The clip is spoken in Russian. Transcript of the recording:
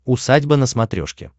усадьба на смотрешке